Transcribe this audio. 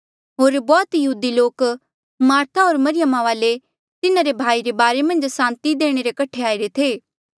होर बौह्त यहूदी लोक मार्था होर मरियमा वाले तिन्हारे भाई रे बारे मन्झ सांति देणे रे कठे आईरे थे